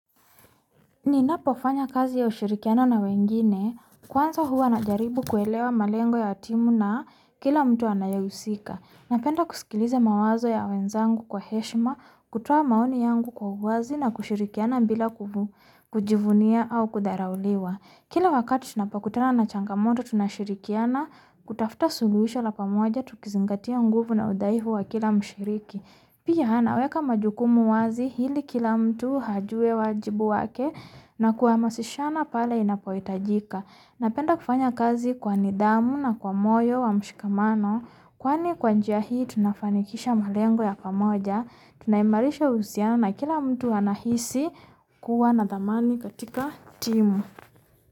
Ninapofanya kazi ya ushirikiano na wengine. Kwanza huwa na jaribu kuelewa malengo ya timu na kila mtu anayehusika Napenda kuskiliza mawazo ya wenzangu kwa heshima, kutoa maoni yangu kwa uwazi na kushirikiana bila kujivunia au kudharauliwa. Kila wakati tunapokutana na changamoto tunashirikiana, kutafta suluhisho la pamoja tukizingatia nguvu na udhaifu wa kila mshiriki. Pia anaweka majukumu wazi ili kila mtu ajuwe wajibu wake na kuhamasishana pale inapohitajika. Napenda kufanya kazi kwa nidhamu na kwa moyo wa mshikamano. Kwani kwa njia hii tunafanikisha malengo ya pamoja, tunaimarisha uhusiano kila mtu anahisi kuwa na dhamani katika timu.